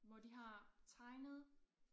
Hvor de har tegnet